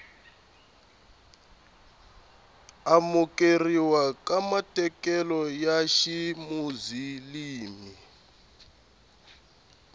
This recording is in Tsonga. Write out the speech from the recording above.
amukeriwa ka matekanelo ya ximuzilimi